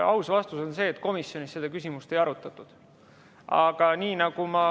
Aus vastus on see, et komisjonis seda küsimust ei arutatud.